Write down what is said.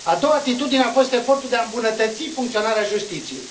A doua atitudinea, a fost efortul de a îmbunătăți funcționarea justiției.